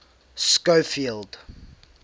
schofield